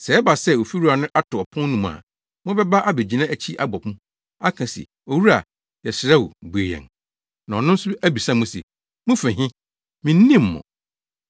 Sɛ ɛba sɛ ofiwura no ato ɔpon no mu a, mobɛba abegyina akyi abɔ mu, aka se, ‘Owura, yɛsrɛ wo bue yɛn.’ “Na ɔno nso abisa mo se, ‘Mufi he? Minnim mo?’